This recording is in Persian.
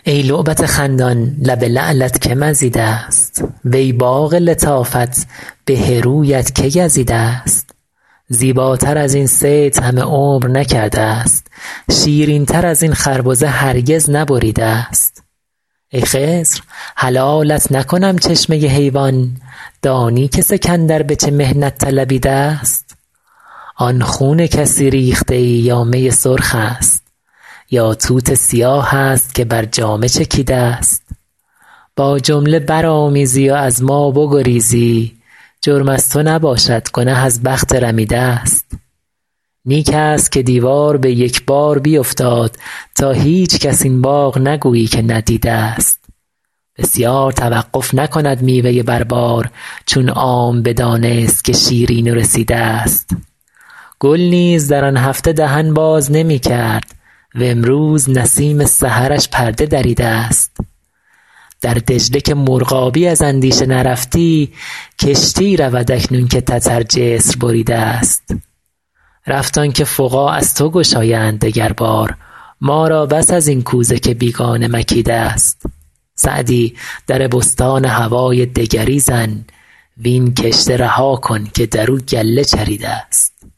ای لعبت خندان لب لعلت که مزیده ست وی باغ لطافت به رویت که گزیده ست زیباتر از این صید همه عمر نکرده ست شیرین تر از این خربزه هرگز نبریده ست ای خضر حلالت نکنم چشمه حیوان دانی که سکندر به چه محنت طلبیده ست آن خون کسی ریخته ای یا می سرخ است یا توت سیاه است که بر جامه چکیده ست با جمله برآمیزی و از ما بگریزی جرم از تو نباشد گنه از بخت رمیده ست نیک است که دیوار به یک بار بیفتاد تا هیچکس این باغ نگویی که ندیده ست بسیار توقف نکند میوه بر بار چون عام بدانست که شیرین و رسیده ست گل نیز در آن هفته دهن باز نمی کرد وامروز نسیم سحرش پرده دریده ست در دجله که مرغابی از اندیشه نرفتی کشتی رود اکنون که تتر جسر بریده ست رفت آن که فقاع از تو گشایند دگر بار ما را بس از این کوزه که بیگانه مکیده ست سعدی در بستان هوای دگری زن وین کشته رها کن که در او گله چریده ست